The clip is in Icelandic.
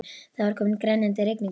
Það var komin grenjandi rigning og